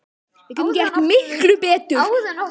Við getum gert miklu betur!